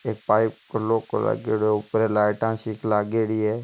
एक पाईप लो को लागेडो है ऊपर लाईटा सी लागेड़ी है।